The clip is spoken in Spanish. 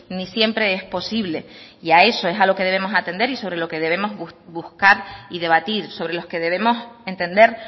ni siempre es posible y a eso es a lo que debemos atender y sobre lo que debemos buscar y debatir sobre los que debemos entender